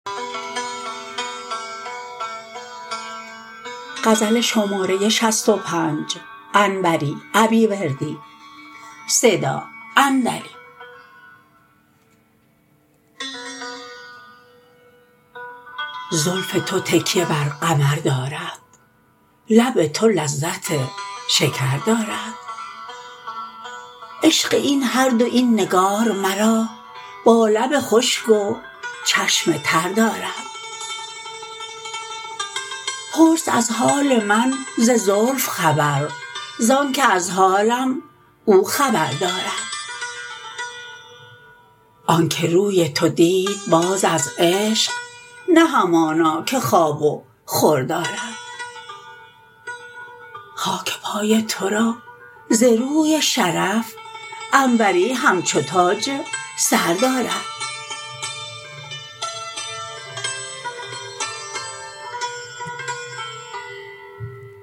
زلف تو تکیه بر قمر دارد لب تو لذت شکر دارد عشق این هر دو این نگار مرا با لب خشک و چشم تر دارد پرس از حال من ز زلف خبر زانکه از حالم او خبر دارد آنکه روی تو دید باز از عشق نه همانا که خواب و خور دارد خاک پای ترا ز روی شرف انوری همچو تاج سر دارد